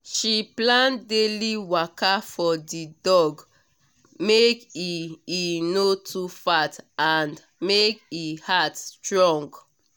she plan daily waka for the dog make e e no too fat and make e heart strong